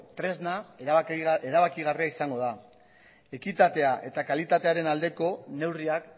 tresna erabakigarria izango da ekitatea eta kalitatearen aldeko neurriak